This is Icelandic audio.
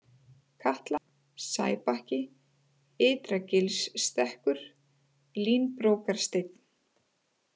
Katla, Sæbakki, Ytra-Gilsstekkur, Línbrókarsteinn